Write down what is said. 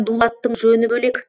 дулаттың жөні бөлек